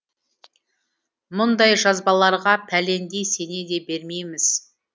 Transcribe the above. мұндай жазбаларға пәлендей сене де бермейміз